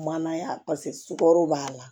Mananaya paseke sukaro b'a la